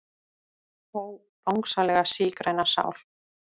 Ó Bangsalega sígræna sál.